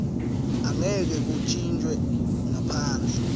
angeke kuntjintjwe ngaphandle